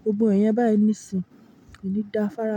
gbogbo iyẹn báyìí níìsín, ko ni da fára.